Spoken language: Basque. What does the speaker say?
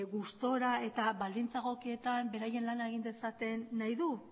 gustura eta baldintza egokietan beraien lana egin dezaten nahi du